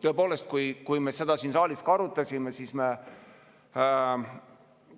Tõepoolest, kui me seda siin saalis arutasime, siis me